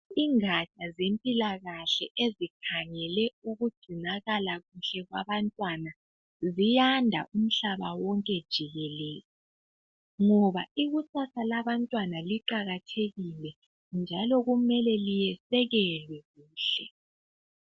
Igatsha zempilakahle ezikhangele ukugcinakala kuhle kwabantwana ziyanda umhlaba wonke jikelele ngoba ikusasa labantwana liqakathekile njalo kumele lisekelwe kuhle.